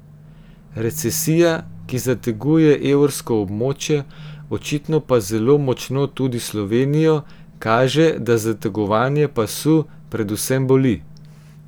Recesija, ki zateguje evrsko območje, očitno pa zelo močno tudi Slovenijo, kaže, da zategovanje pasu predvsem boli.